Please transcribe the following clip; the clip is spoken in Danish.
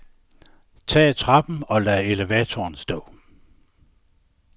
Tag trappen og lad elevatoren stå.